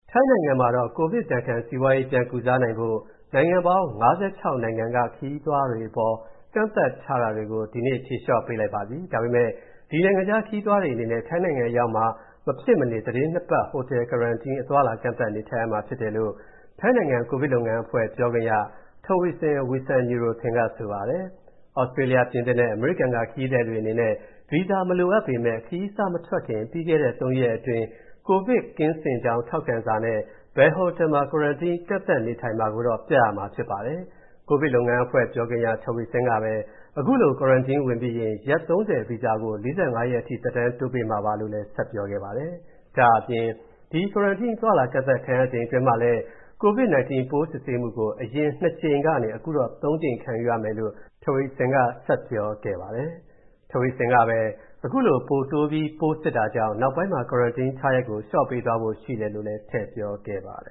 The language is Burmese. ထိုင်းနိုင်ငံမှာတော့ ကိုဗစ်ဒဏ်ခံ စီးပွားရေး ပြန်ကုစားနိုင်ဖို့ နိုင်ငံပေါင်း ၅၆ နိုင်ငံက ခရီးသွားတွေအပေါ် ကန့်သတ်ထားတာတွေကို ဒီနေ့ ဖြေလျော့ပေးလိုက်ပါပြီ။ ဒါပေမဲ့ ဒီနိုင်ငံခြားခရီးသည်တွေအနေနဲ့ ထိုင်းနိုင်ငံအရောက်မှာ မဖြစ်မနေ သီတင်းနှစ်ပတ် ဟိုတယ် Quarantine ကန့်သတ်နေထိုင်ရမှာဖြစ်တယ်လို့ ထိုင်းနိုင်ငံ ကိုဗစ်လုပ်ငန်းအဖွဲ့ ပြောခွင့်ရ Taweesin Wisanuyothin က ဆိုပါတယ်။ သြစတြေးလျ၊ ပြင်သစ်နဲ့ အမေရိကန်က ခရီးသည်တွေအနေနဲ့ ဗီဇာမလိုအပ်ပေမဲ့ ခရီးစမထွက်ခင် ပြီးခဲ့တဲ့ ၃ ရက်အတွင်း ကိုဗစ်ကင်းစင်ကြောင်း ထောက်ခံစာနဲ့ ဘယ်ဟိုတယ်မှာ Quarantine ကန့်သတ်နေထိုင်မယ်ဆိုတာ ပြရမှာဖြစ်ပါတယ်။ ကိုဗစ်လုပ်ငန်းအဖွဲ့ ပြောခွင့်ရ Taweesin ကပဲ အခုလို Quarantine ဝင်ပြီးရင် ရက် ၃၀ ဗီဇာကို ၄၅ ရက်အထိ သက်တမ်းတိုးပေးမှာပါလို့ ဆက်ပြောခဲ့ပါတယ်။ ဒါ့အပြင် ဒီ Quarantine အသွားအလာ ကန့်သတ်ခံရချိန်တွင်းမှာလည်း COVID 19 ပိုးစစ်ဆေးမှုကို အရင် ၂ ကြိမ်ကနေ၊ အခုတော့ ၃ ကြိမ် ခံယူရမယ်လို့ Taweeson က ဆက်ပြောခဲ့ပါတယ်။ Taweeson ကပဲ ခုလို ပိုတိုးပြီးစစ်တာကြောင့် နောက်ပိုင်းမှာ Quarantine ထားရက်ကို လျှော့ချပေးသွားဖို့ ရှိတယ်လို့လည်း ထည့်ပြောခဲ့ပါတယ